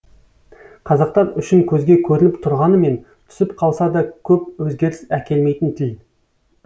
қазақтан үшін көзге көрініп тұрғанымен түсіп қалса да көп өзгеріс әкелмейтін тіл